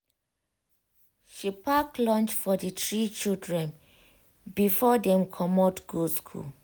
she pack lunch for the three children before dem commot go school